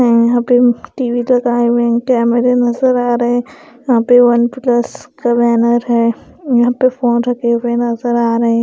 या यहाँ पे टी_वी लगाए हुए कैमरे नज़र आ रहे हैं यहाँ पे वन प्लस का बैनर है यहाँ पे फोन रखे हुए नज़र आ रहे --